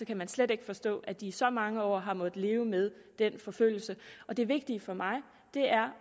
kan man slet ikke forstå at de i så mange år har måttet leve med den forfølgelse det vigtige for mig er